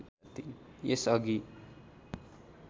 यस अघि